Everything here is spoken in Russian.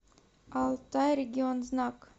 алтайрегионзнак